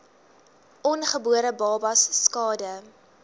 ongebore babas skade